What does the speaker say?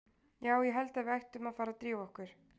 Já, ég held að við ættum að fara að drífa okkur.